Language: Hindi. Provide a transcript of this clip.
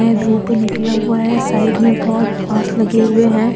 यहाँ धूप निकला हुआ है साइड में बहुत बांस लगे हुए हैं।